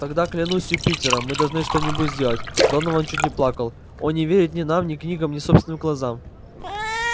тогда клянусь юпитером мы должны что-нибудь сделать донован чуть не плакал он не верит ни нам ни книгам ни собственным глазам